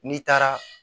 N'i taara